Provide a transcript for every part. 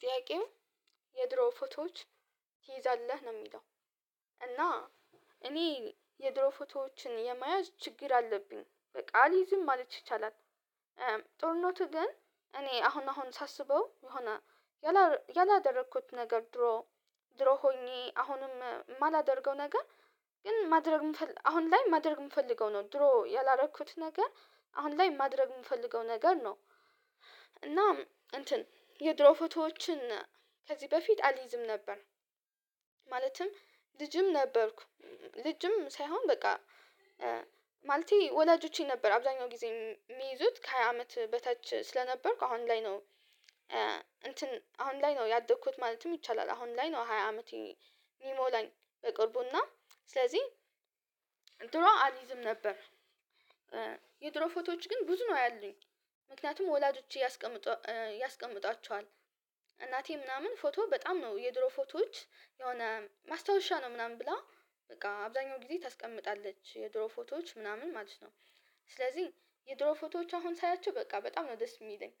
ጥያቄው የድሮ ፎቶዎች ትይዛለህ ነው የሚለው? እና እኔ የድሮ ፎቶዎችን የመያዝ ችግር አለብኝ በቃ አልይዝም ማለት ይቻላል። ጥሩነቱ ግን እኔ አሁን አሁን ሳስበው የሆነ ያላደረኩት ነገር ድሮ ድሮ ሆኜ አሁንም የማላደርገው ነገር ግን ማድረግ አሁን ላይ ማድረግ የምፈልገው ነው ድሮ ያላረኩት ነገር አሁን ላይ ማድረግ የምፈልገው ነገር ነው። እና እንትን የድሮ ፎቶዎችን ከዚህ በፊት አልይዝም ነበር። ማለትም ልጅም ነበርኩ ልጅም ሳይሆን በቃ ማለቴ ወላጆቼ ነበር አብዛኛው ጊዜ የሚይዙት ከሃያ አመት በታች ስለነበርኩ አሁን ላይ ነው። እንትን አሁን ላይ ነው ያደግኩት ማለትም ይቻላል አሁን ላይ ነው ሃያ አመቴን ሚሞላኝ በቅርቡና ስለዚህ ድሮ አልይዝም ነበር። የድሮ ፎቶዎች ግን ብዙ ነው ያሉኝ ምክንያቱም ወላጆች ያስቀምጧቸዋል እናቴ ምናምን ፎቶ በጣም ነው የድሮ ፎቶዎች የሆነ ማስታወሻ ነው ምናምን ብላ በቃ አብዛኛው ጊዜ ታስቀምጣለች የድሮ ፎቶዎች ምናምን ማለት ነው። ስለዚህ የድሮ ፎቶዎች አሁን ሳያቸው በቃ በጣም ነው ደስ የሚለኝ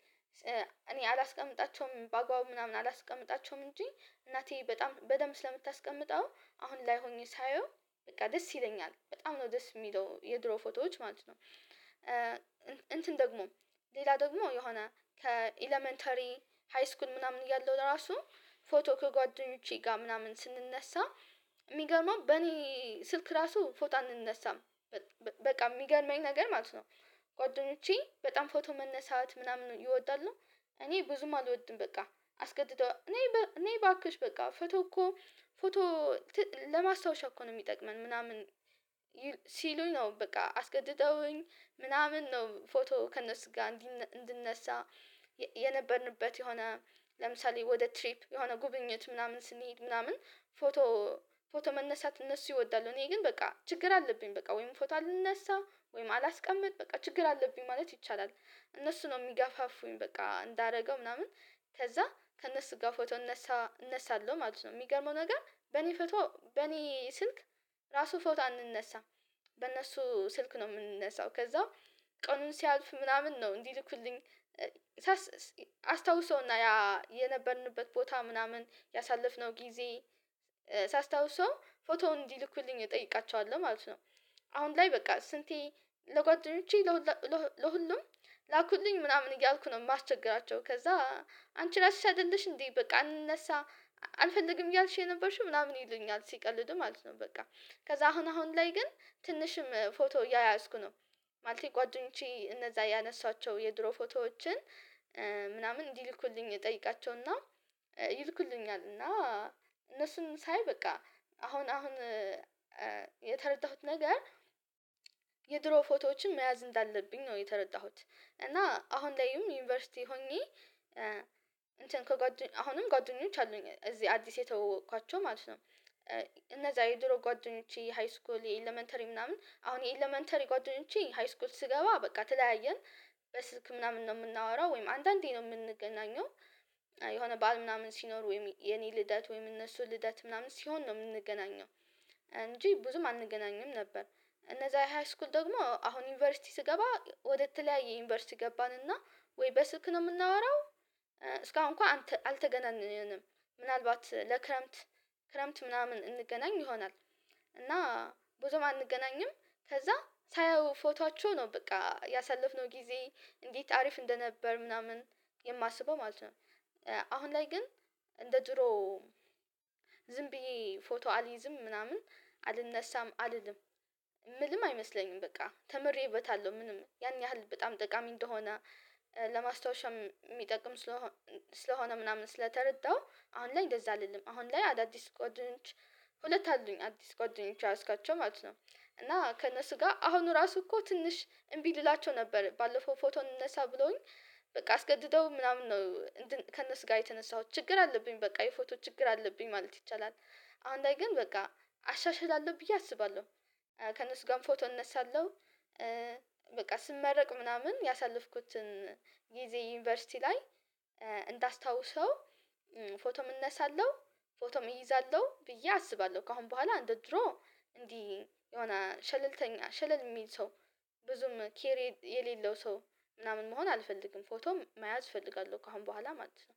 እኔ አላስቀምጣቸውም በአግባቡ ምናምን አላስቀምጣቸውም እንጂ እናቴ በጣም በደንብ ስለምታስቀምጠው አሁን ላይ ሆኜ ሳየው በቃ ደስ ይለኛል በጣም ነው ደስ የሚለው የድሮ ፎቶዎች ማለት ነው። እንትን ደግሞ ሌላ ደግሞ የሆነ ከኤለመንታሪ ሃይስኩል ምናምን እያለሁ ለራሱ ፎቶ ከጓደኞቼ ጋር ምናምን ስንነሳ የሚገርመው በኔ ስልክ ራሱ ፎቶ አንነሳም በቃ የሚገርመኝ ነገር ማለት ነው። ጓደኞቼ በጣም ፎቶ መነሳት ምናምን ይወዳሉ እኔ ብዙም አልወድም በቃ አስገድደው ነይ ነይ እባክሽ በቃ ፎቶ እኮ ፎቶ ለማስታወሻ እኮ ነው የሚጠቅመን ምናምን። ሲሉኝ ነው በቃ አስገድደውኝ ምናምን ነው ፎቶ ከነሱ ጋር እንድነሳ የነበርንበት የሆነ ለምሳሌ ወደ ትሪፕ የሆነ ጉብኝት ምናምን ስንሄድ ምናምን ፎቶ ፎቶ መነሳት እነሱ ይወዳሉ እኔ ግን በቃ ችግር አለብኝ በቃ ወይም ፎቶ አልነሳ ወይም አላስቀምጥ በቃ ችግር አለብኝ ማለት ይቻላል። እነሱ ነው የሚጋፋፉኝ በቃ እንዳደረገው ምናምን ከዛ ከእነሱ ጋር ፎቶ እነሳ እነሳለሁ ማለት ነው የሚገርመው ነገር በእኔ ፎቶ በእኔ ስልክ ራሱ ፎቶ አንነሳም በእነሱ ስልክ ነው የምንነሳው ከዛ ቀኑን ሲያልፍ ምናምን ነው እንዲልኩልኝ አስታውሰና ያ የነበርንበት ቦታ ምናምን ያሳለፍነው ጊዜ ሳስታውሰው ፎቶውን እንዲልኩልኝ እጠይቃቸዋለሁ ማለት ነው። አሁን ላይ በቃ ስንቴ ለጓደኞቼ ለሁሉም ላኩልኝ ምናምን እያልኩ ነው የማስቸግራቸው ከዛ አንቺ ራስሽ አይደለሽ እንዴ በቃ አንነሳ አልፈልግም እያልሽ የነበርሽው ምናምን ይሉኛል ሲቀልዱ ማለት ነው። በቃ ከዛ አሁን አሁን ላይ ግን ትንሽም ፎቶ እያያዝኩ ነው ማለት ጓደኞቼ እነዛ ያነሷቸው የድሮ ፎቶዎችን ምናምን እንዲልኩልኝ እጠይቃቸውና ይልኩልኛል እና እነሱን ሳይ በቃ አሁን አሁን የተረዳሁት ነገር የድሮ ፎቶዎችን መያዝ እንዳለብኝ ነው የተረዳሁት እና አሁን ላይም ዩኒቨርሲቲ ሆኜ እንትን አሁንም ጓደኞች አሉኝ እዚህ አዲስ የተዋወቋቸው ማለት ነው። እነዛ የድሮ ጓደኞቼ የሃይስኩል የኤለመንተሪ ምናምን አሁን የኤለመንተሪ ጓደኞቼ ሃይስኩል ስገባ በቃ ተለያየን በስልክ ምናምን ነው የምናወራው ወይም አንዳንዴ ነው የምንገናኘው የሆነ በዓል ምናምን ሲኖር ወይም የኔ ልደት ወይም እነሱ ልደት ምናምን ሲሆን ነው የምንገናኘው እንጂ ብዙም አንገናኝም ነበር። እነዛ ሃይስኩል ደግሞ አሁን ዩኒቨርሲቲ ስገባ ወደተለያየ ዩኒቨርሲቲ ገባን እና ወይ በስልክ ነው የምናወራው። እስካሁን እንኳን አልተገናንም ምናልባት ለክረምት ክረምት ምናምን እንገናኝ ይሆናል እና ብዙም አንገናኝም ከዛ ሳየው ፎቶአቸው ነው በቃ ያሳለፍነው ጊዜ እንዴት አሪፍ እንደነበር ምናምን የማስበው ማለት ነው። አሁን ላይ ግን እንደ ድሮው ዝም ብዬ ፎቶ አልይዝም ምናምን አልነሳም አልልም ምልም አይመስለኝም በቃ ተምሬበታለሁ ምንም ያን ያህል በጣም ጠቃሚ እንደሆነ ለማስታወሻም የሚጠቅም ስለሆነ ምናምን ስለተረዳሁ አሁን ላይ እንደዛ አይደለም አሁን ላይ አዳዲስ ጓደኞች ሁለት አሉኝ አዲስ ጓደኞች የያዝኳቸው ማለት ነው። እና ከእነሱ ጋር አሁኑ ራሱ እኮ ትንሽ እምቢ ልላቸው ነበር ባለፈው ፎቶ እንነሳ ብሎኝ በቃ አስገድደው ምናምን ነው ከእነሱ ጋር የተነሳሁት ችግር አለብኝ በቃ የፎቶ ችግር አለብኝ ማለት ይቻላል። አሁን ላይ ግን በቃ አሻሽላለሁ ብዬ አስባለሁ ከእነሱ ጋር ፎቶ እነሳለሁ። በቃ ስመረቅ ምናምን ያሳለፍኩትን ጊዜ ዩኒቨርሲቲ ላይ እንዳስታውሰው ፎቶም እነሳለሁ ፎቶም እይዛለሁ ብዬ አስባለሁ ከአሁን በኋላ እንደ ድሮ እንዲህ የሆነ ቸለልተኛ ቸለል የሚል ሰው ብዙም ኬሪ የሌለው ሰው ምናምን መሆን አልፈልግም ፎቶም መያዝ እፈልጋለሁ ከአሁን በኋላ ማለት ነው